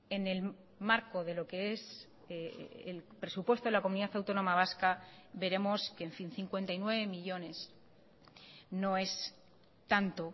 en el marco de lo que es el presupuesto de la comunidad autónoma vasca veremos que en fin cincuenta y nueve millónes no es tanto